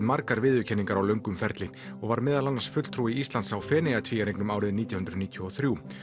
margar viðurkenningar á löngum ferli og var meðal annars fulltrúi Íslands á árið nítján hundruð níutíu og þrjú